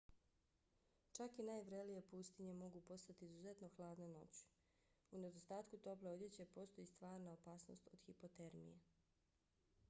čak i najvrelije pustinje mogu postati izuzetno hladne noću. u nedostatku tople odjeće postoji stvarna opasnost od hipotermije